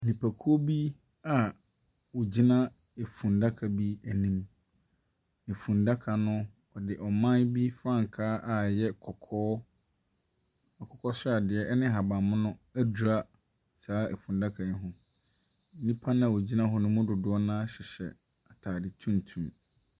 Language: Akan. Nnipakuo bi a ɔgyina efundaka bi ɛnim. Efundaka no, ɔde ɔman bi frankaa a ɛyɛ kɔkɔɔ, akokɔ sradeɛ ɛne ahaban mono ɛdwira saa efundaka yi ho. Nnipa na ɔgyina hɔ no mu dodoɔ naa hyɛ ataade tuntum.